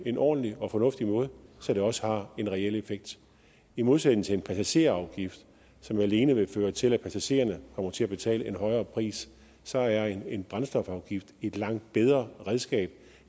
en ordentlig og fornuftig måde så det også har en reel effekt i modsætning til en passagerafgift som alene vil føre til at passagererne kommer til at betale en højere pris så er en brændstofafgift et langt bedre redskab